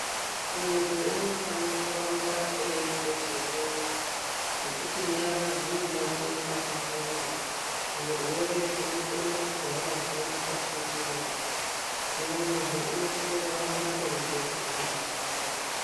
Muntu unofane kuramba eyigeze nyara, ngekuti nyara dzinobate pakawanda, zvirwere zvinokone kugara zviri mukati mwenyara, hino munhu unosise kuramba eyigeze nyara dzakwe.